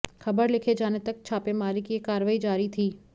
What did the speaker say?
खबर लिखे जाने तक छापेमारी की यह कार्यवाही जारी थी